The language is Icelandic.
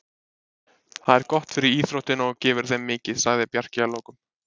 Það er gott fyrir íþróttina og gefur þeim mikið, sagði Bjarki að lokum.